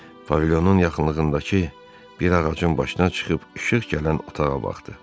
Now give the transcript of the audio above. Pavilyonun yaxınlığındakı bir ağacın başına çıxıb işıq gələn otağa baxdı.